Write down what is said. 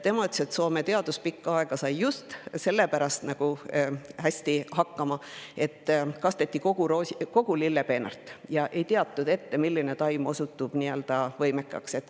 Tema ütles, et Soome teadus sai pikka aega just sellepärast hästi hakkama, et kasteti kogu lillepeenart, kuna ei teatud ette, milline taim osutub võimekaks.